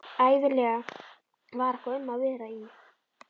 Ævinlega var eitthvað um að vera í